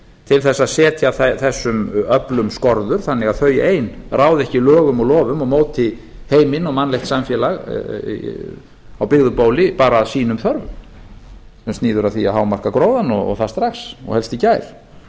til þess að setja þessum öflum skorður þannig að þau ein ráði ekki lögum og lofum og móti heiminn og mannlegt samfélag á byggðu bóli bara að sínum þörfum sem snýr að því að hámarka gróðann strax og helst í gær